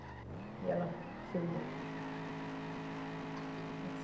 E ela filmou.